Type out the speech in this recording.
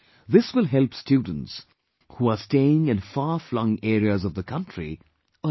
This will help students who are staying in farflung areas of the country, a lot